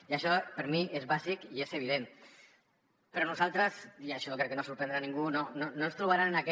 i això per mi és bàsic i és evident però a nosaltres i això crec que no sorprendrà ningú no ens trobaran en aquest